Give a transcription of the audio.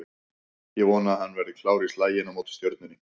Ég vona að hann verði klár í slaginn á móti Stjörnunni